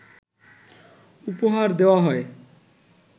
উপহার দেওয়া হয়